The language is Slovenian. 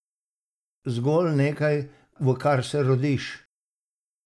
Zgolj nekaj, v kar se rodiš?